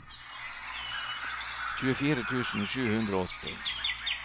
tjuefire tusen sju hundre og åtti